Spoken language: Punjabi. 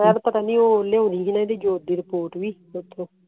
ਸ਼ਾਇਦ ਪਤਾ ਨੀ ਉਹ ਜੋਤ ਦੀ ਰਿਪੋਰਟ ਵੀ